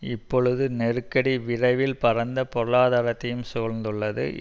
இப்பொழுது நெருக்கடி விரைவில் பரந்த பொருளாதாரத்தையும் சூழ்ந்துள்ளது